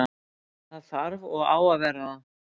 Það þarf og á að vera það.